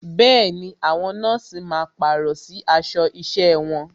Bẹẹni, àwọn nọ́ọ̀sì máa pàrọ̀ sí aṣọ isẹ wọn.